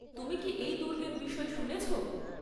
তুমি কি এই দুর্গের বিষয়ে শুনেছ?